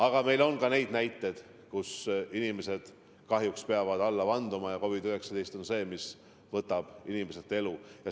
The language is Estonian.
Aga meil on ka neid näiteid, et inimesed kahjuks peavad alla vanduma ja COVID-19 on see, mis võtab inimeselt elu.